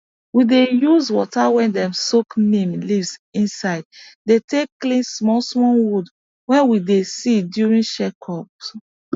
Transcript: we dey use water wey dem soak neem leaves inside dey take clean small small wound wey we dey see during check ups